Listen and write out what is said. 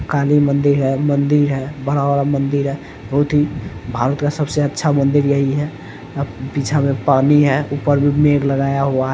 काली मंदिर है मंदिर है बड़ा वाला मंदिर है बहुत ही भारत का सबसे अच्छा मंदिर यही है पीछा में पानी है ऊपर मे मेघ लगाया हुआ है ।